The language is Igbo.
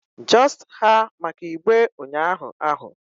just ha maka igbe unyahu ahu